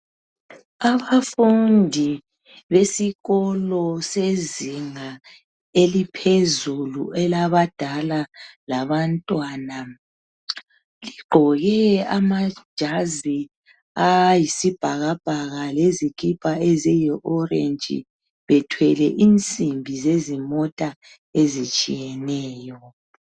Abafundi besikolo sezinga eliphezulu elabadala labantwana bagqoke amajazi ayisibhakabhaka lezikipa eziyi orange bethwele insimbi zezimota ezitshiyeneyo.